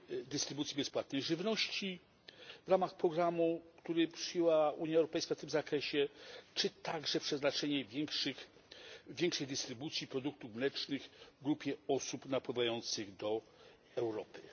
dystrybucji bezpłatnej żywności w ramach programu, który przyjęła Unia Europejska tym zakresie, czy także przeznaczenie większej dystrybucji produktów mlecznych grupie osób napływających do Europy.